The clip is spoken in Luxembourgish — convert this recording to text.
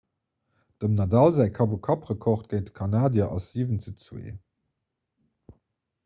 dem nadal säi kapp-u-kapp-rekord géint de kanadier ass 7:2